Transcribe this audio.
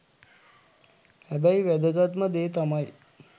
හැබැයි වැදගත්ම දේ තමයි